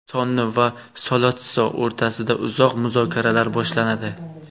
Sonni va Solotsso o‘rtasida uzoq muzokaralar boshlanadi.